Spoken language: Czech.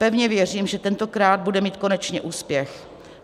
Pevně věřím, že tentokrát bude mít konečně úspěch.